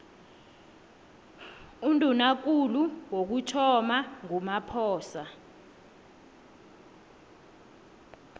undunakulu wokuthoma ngumaphoso